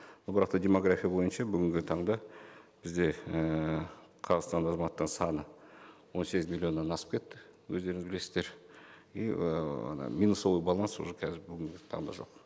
но бірақ та демография бойынша бүгінгі таңда бізде ііі қазақстан азаматтарының саны он сегіз миллионнан асып кетті өздеріңіз білесіздер и ы ана минусовой баланс уже қазір бүгінгі таңда жоқ